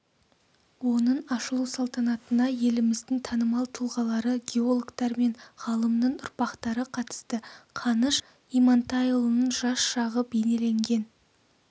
оның ашылу салтанатына еліміздің танымал тұлғалары геологтар мен ғалымның ұрпақтары қатысты қаныш имантайұлының жас шағы бейнеленген